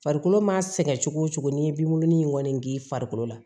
Farikolo mana sɛgɛn cogo o cogo n'i ye binkurun in kɔni k'i farikolo la